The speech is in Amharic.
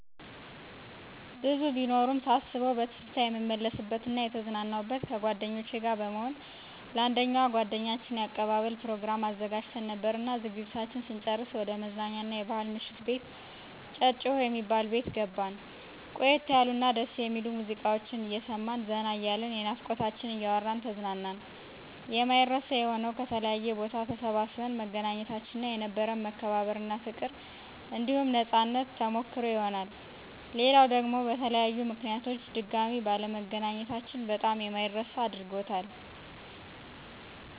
ብዙ ቢኖሩም ሳስበዉ በትዝታ የምመለስበት እና የተዝናናሁበት፦ ከጓደኞቸ ጋር በመሆን ለአንደኛዋ ጓደኛችን የአቀባበል ፕሮግራም አዘጋጅተን ነበርና ዝግጅታችን ስንጨርስ ወደ መዝናኛ አና የባሕል ምሽት ቤት ጨጨሆ የሚባል ቤት ገባን። ቆየት ያሉ እና ደስ የሚሉ ሙዚቃወችን አየሰማን ዘና እያልን የናፍቆታችንን እያወራን ተዝናናን። የማይረሳ የሆነዉ፦ ከተለያየ ቦታ ተሰባስበን መገናኘታችን እና የነበረን መከባበር እና ፋቅር አንዲሁም ነፃነት ተሞከሰሮ ይሆናል። ሌላዉ ደግሞ በተለያዩ ምከንያቶች ድጋሜ ባለመገናኘታችን በጣም የማይረሳ አድርጎታል።